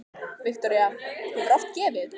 Viktoría: Hefurðu oft gefið?